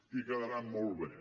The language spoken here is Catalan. i quedaran molt bé